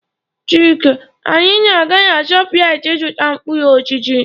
Chike, anyị na-aga Shoprite ịzụta mkpụrụ osisi.